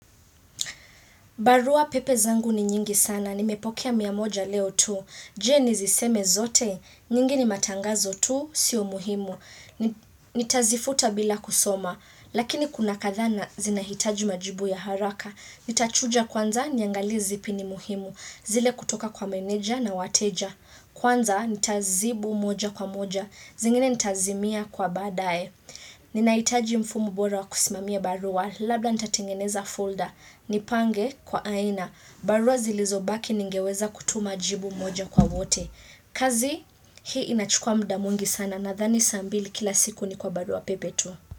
Barua pepe zangu ni nyingi sana. Nimepokea miamoja leo tu. Je niziseme zote. Nyingi ni matangazo tu. Sio muhimu. Nitazifuta bila kusoma. Lakini kuna kadhaa na zinahitaji majibu ya haraka. Nitachuja kwanza niangalie zipi ni muhimu. Zile kutoka kwa meneja na wateja. Kwanza nitazibu moja kwa moja. Zingine nitazimia kwa baadaye. Ninahitaji mfumo bora wa kusimamia barua. Labla nitatingeneza folder. Nipange kwa aina barua zilizobaki ningeweza kutuma jibu moja kwa wote kazi hii inachukua muda mwingi sana nadhani saa mbili kila siku ni kwa barua pepe tu.